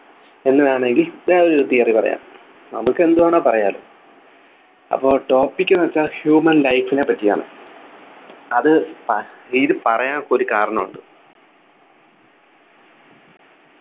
എന്ന് വേണെങ്കിൽ വേറൊരു theory പറയാം നമുക്ക് എന്തുവേണമെങ്കിലും പറയാലോ അപ്പൊ topic ന്നു വെച്ചാൽ humen life നെപറ്റിയാണ് അത് പ ഇത് പറയാനൊക്കെ ഒരു കാരണം ഉണ്ട്